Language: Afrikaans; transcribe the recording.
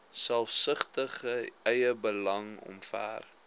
selfsugtige eiebelang omver